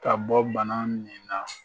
Ka bɔ bana min na